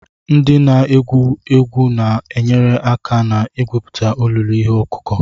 Ndị na-egwu egwu na-enyere aka na-egwupụta olulu ihe ọkụkụ.